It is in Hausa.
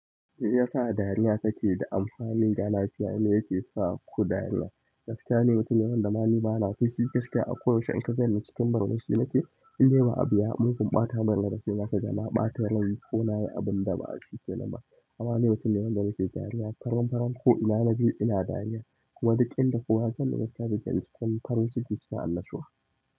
Me yasa dariya take da amfani? Ga lafiya, me yake sa ku dariya? Gaskiya ni mutum ne wanda ma ni bana fushi gaskiya a koyaushe in ka ganni cikin murmushi nake. In dai ba abu ya mugun ɓata min rai ba sai za kaga na ɓata rai ko nayi ya abun da ba shi kenan ba. Amma ni mutum ne wanda nike dariya faran faran ko ina naje ina dariya. Kuma duk inda kowa ya sanni gaskiya zai sanni cikin farin ciki cikin annashuwa.